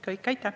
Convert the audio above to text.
Aitäh!